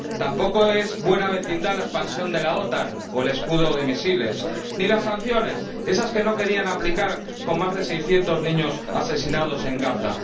tampoco es buena vecindad la expansión de la OTAN o el escudo de misiles ni las sanciones, esas que no querían aplicar con más de seiscientos niños asesinados en Gaza.